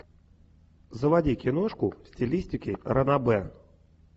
заводи киношку в стилистике ранобэ